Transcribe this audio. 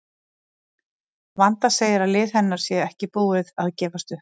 Vanda segir að lið hennar sé ekki búið að gefast upp.